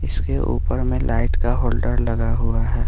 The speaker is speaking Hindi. इसके ऊपर में लाइट का होल्डर लगा हुआ है।